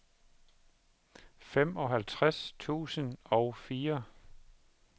femoghalvtreds tusind og fire